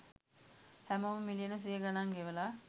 හැමෝම මිලියන සිය ගනං ගෙවලා